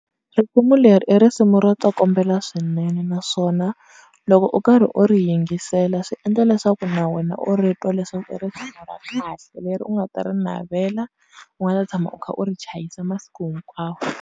Risimu leri i risimu ro tsokombela swinene naswona loko u karhi u ri yingisela swi endla leswaku na wena u ri twa leswaku i ra kahle, leri u nga ta ri navela, u nga ta tshama u kha u ri chayisa masiku hinkwawo.